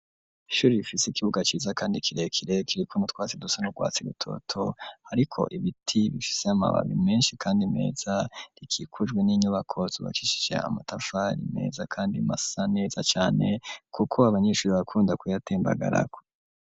Ishuri bifise ikibuga ciza, kandi kirekirekirikwo mutwatsi dusan' urwatsi rutoto, ariko ibiti bishise amababi menshi, kandi meza rikikujwe n'inyubakozubakishishe amatafari meza, kandi masa neza cane, kuko abanyishuri bakunda kuyatembagarako.